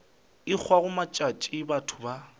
e hwago matšatši batho ba